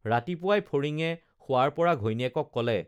ৰাতিপুৱাই ফৰিঙে শোৱাৰপৰা ঘৈণীয়েকক কলে